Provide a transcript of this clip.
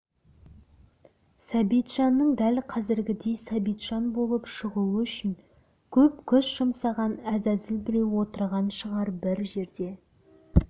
сәбитжанның дәл қазіргідей сәбитжан болып шығуы үшін көп күш жұмсаған әзәзіл біреу отырған шығар бір жерде